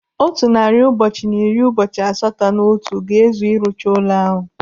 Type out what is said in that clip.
Otu narị ụbọchị na iri ụbọchị asatọ na otu ga-ezu iji rụchaa ụlọ ahụ.